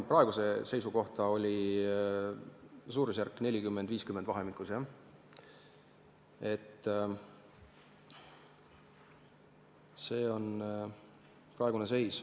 Praegune seis on vahemikus 40–50, see on praegune seis.